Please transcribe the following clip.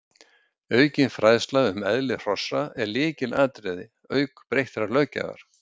aukin fræðsla um eðli hrossa er lykilatriði auk breyttrar löggjafar